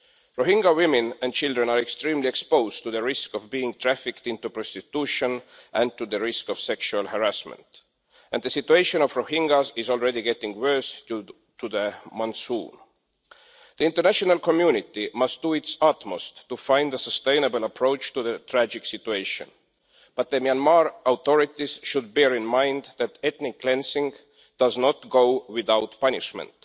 Rohingya women and children are extremely exposed to the risk of being trafficked into prostitution and to the risk of sexual harassment, and the situation of the Rohingyas is already getting worse due to the monsoon. The international community must do its utmost to find a sustainable approach to the tragic situation, but the Myanmar authorities should bear in mind that ethnic cleansing does not go without punishment.